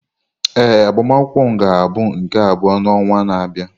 Ee, agbamakwụkwọ m ga-abụ nke abụọ n'ọnwa na-abịa.